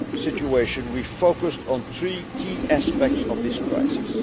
appalling situation, we focused on three key aspects of this